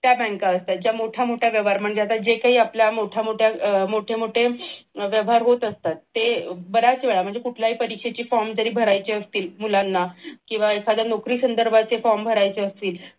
त्या बँक असतात म्हणजे मोठा मोठा व्यवहार म्हणजे जे काही आपल्या मोठे मोठे व्यवहार होत असतात ते बऱ्याच वेळा म्हणजे कुठल्याही परीक्षेचे form जरी भरायचे असतील मुलांना किंवा एखाद्या नोकरी संदर्भाचे form भरायचे असतील